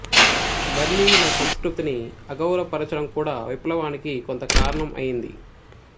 బర్మీయుల సంస్కృతిని అగౌరవపరచడం కూడా విప్లవానికి కొంత కారణం అయింది